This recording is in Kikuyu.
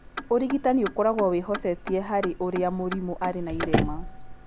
Ũrigitani ũkoragwo wĩhocetie harĩ ũrĩa mũrimũ arĩ na irema.